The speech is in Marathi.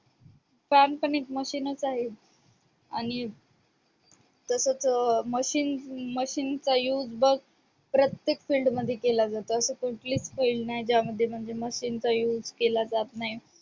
fan पण एक machine च आहे आणि तस तस machinemachine चा use बघ प्रत्येक field मध्ये केला जातो अशी कुठलीच field नाही ज्यामध्ये machine चा use केला जात नाही.